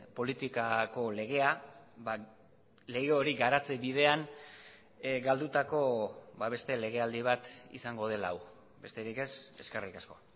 politikako legea lege hori garatze bidean galdutako beste legealdi bat izango dela hau besterik ez eskerrik asko